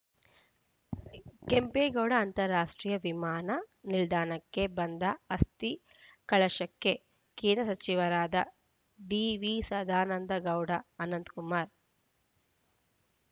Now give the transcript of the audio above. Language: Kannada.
ಕೆಂಪೇಗೌಡ ಅಂತಾರಾಷ್ಟ್ರೀಯ ವಿಮಾನ ನಿಲ್ದಾಣಕ್ಕೆ ಬಂದ ಅಸ್ಥಿ ಕಲಶಕ್ಕೆ ಕೇಂದ್ರ ಸಚಿವರಾದ ಡಿವಿಸದಾನಂದಗೌಡ ಅನಂತಕುಮಾರ್